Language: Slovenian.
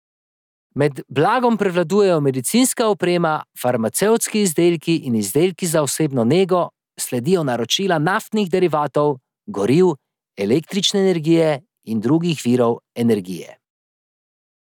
Med blagom prevladujejo medicinska oprema, farmacevtski izdelki in izdelki za osebno nego, sledijo naročila naftnih derivatov, goriv, električne energije in drugih virov energije.